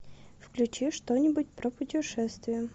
включи что нибудь про путешествия